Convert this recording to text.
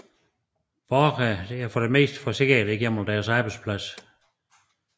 Borgere er for det meste forsikret gennem deres arbejdsplads